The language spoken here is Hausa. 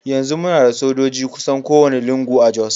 Yanzu muna da sojoji kusan kowane lungu a Jos.